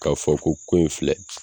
K'a fɔ ko ko in filɛ